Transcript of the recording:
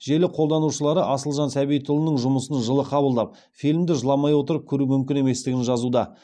желі қолданушылары асылжан сәбитұлының жұмысын жылы қабылдап фильмді жыламай отырып көру мүмкін еместігін жазуда